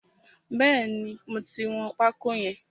Bẹ́ẹ̀ni, mo ti wọn pákó yẹn.